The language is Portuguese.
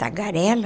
Tagarela.